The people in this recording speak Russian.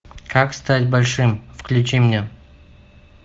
как стать большим включи мне